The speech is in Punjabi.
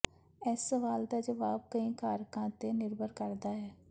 ਇਸ ਸਵਾਲ ਦਾ ਜਵਾਬ ਕਈ ਕਾਰਕਾਂ ਤੇ ਨਿਰਭਰ ਕਰਦਾ ਹੈ